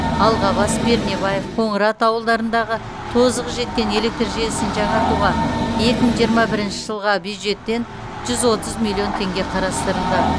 алғабас пернебаев қоңырат ауылдарындағы тозығы жеткен электр желісін жаңартуға екі мың жиырма бірінші жылға бюджеттен жүз отыз миллион теңге қарастырылды